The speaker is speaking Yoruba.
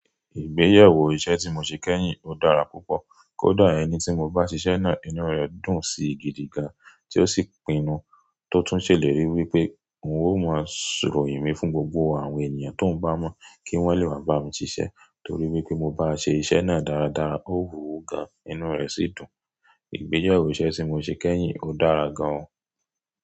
Ìgbéyẹwó iṣẹ tí mo ṣe kẹyìn ó dára púpọ kódà ẹni tí mo bá ṣíṣẹ naa inú rẹ dùn sí gidi gan, tí ó sì pinnu tó tún ṣèlérí wípé òun ó máa sọrọ mi fún gbogbo àwọn ènìyàn tí òun bá mọ̀ kí wón lè wá bá mi ṣíṣẹ torí wípé mo bá ṣé iṣẹ náà dáradára, ó wu gan, inú rẹ̀ sì dùn. Ìgbéyẹwó iṣẹ tí mo ṣé kẹyìn ò dára gan o.